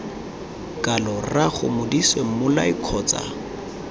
kalo rraago modise mmolai kgotsa